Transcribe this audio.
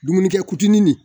Dumunikɛ kutunin nin